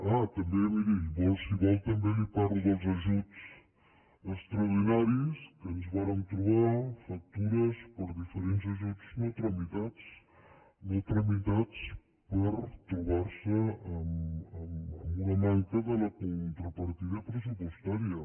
ah també miri si vol també li parlo dels ajuts extraordinaris que ens vàrem trobar factures per diferents ajuts no tramitats no tramitats per trobar se amb una manca de la contrapartida pressupostària